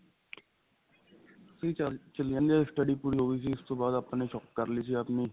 ਠੀਕ ਚੱਲ ਚਾਲੀ ਜਾਂਦੀ ਏ study ਪੂਰੀ ਹੋ ਗਈ ਸੀ ਉਸ ਤੋਂ ਬਾਅਦ shop ਕਰ ਲਈ ਸੀ ਆਪਣੀ